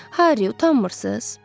Harri, utanmırsız?